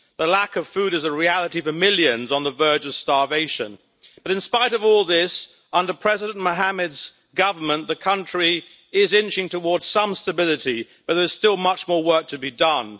The lack of food is a reality for millions on the verge of starvation, but, in spite of all this, under President Mohammed's government the country is inching towards some stability but there is still much more work to be done.